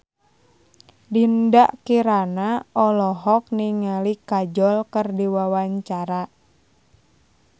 Dinda Kirana olohok ningali Kajol keur diwawancara